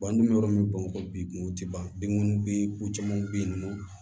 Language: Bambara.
an dun bɛ yɔrɔ min na ko bi kunw tɛ ban binko bɛ ko caman bɛ yen nɔ